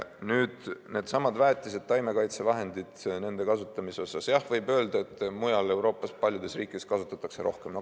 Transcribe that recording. Nüüd needsamad väetised, taimekaitsevahendid, nende kasutamise kohta, jah, võib öelda, et mujal Euroopas paljudes riikides kasutatakse rohkem.